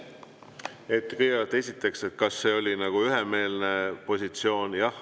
Kõigepealt, esiteks: kas see oli üksmeelne positsioon?